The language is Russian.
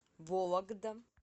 вологда